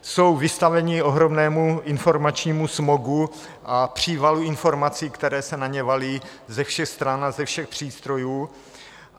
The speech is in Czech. Jsou vystavení ohromnému informačními smogu a přívalu informací, které se na ně valí ze všech stran a ze všech přístrojů.